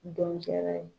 Dɔnkɛla ye